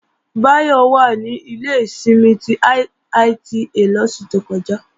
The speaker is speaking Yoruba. Báyọ̀ wà ní ilé ìsinmi ti IITA lóṣù tó kọjá